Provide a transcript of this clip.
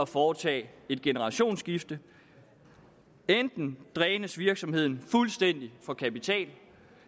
foretage et generationsskifte enten drænes virksomheden fuldstændig for kapital